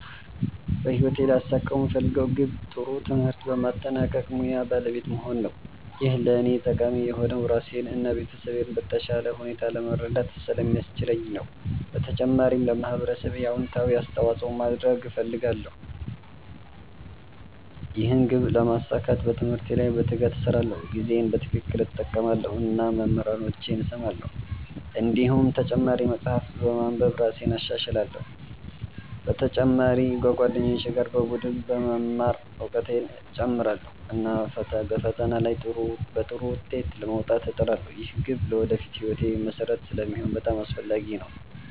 በህይወቴ ሊያሳኩት የምፈልገው ግብ ጥሩ ትምህርት በማጠናቀቅ ሙያ ባለቤት መሆን ነው። ይህ ለእኔ ጠቃሚ የሆነው ራሴን እና ቤተሰቤን በተሻለ ሁኔታ ለመርዳት ስለሚያስችለኝ ነው። በተጨማሪም ለማህበረሰቤ አዎንታዊ አስተዋፅኦ ማድረግ እፈልጋለሁ። ይህን ግብ ለማሳካት በትምህርቴ ላይ በትጋት እሰራለሁ፣ ጊዜዬን በትክክል እጠቀማለሁ እና መምህራኖቼን እሰማለሁ። እንዲሁም ተጨማሪ መጻሕፍት በማንበብ እራሴን እሻሻላለሁ። በተጨማሪ ከጓደኞቼ ጋር በቡድን በመማር እውቀቴን እጨምራለሁ፣ እና በፈተና ላይ በጥሩ ውጤት ለመውጣት እጥራለሁ። ይህ ግብ ለወደፊት ሕይወቴ መሠረት ስለሚሆን በጣም አስፈላጊ ነው።